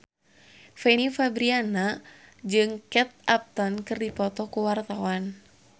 Fanny Fabriana jeung Kate Upton keur dipoto ku wartawan